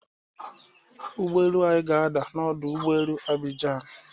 Ụgbọelu anyị ga-ada na ọdụ ụgbọelu Abijian.